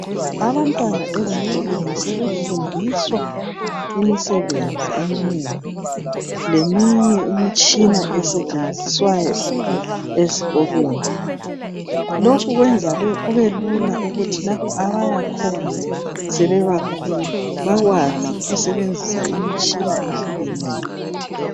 Abantwana ezikolweni sebefundiswa imisebenzi eminengi leminye imitshina esetshenziswayo ezikolweni lokhu kwenza kubelula ukuthi lapho abayakhona sebebakhulu bakwazi ukusebenzisa imitshina ehlukeneyo